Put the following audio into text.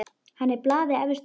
Hann er blaði efstur á.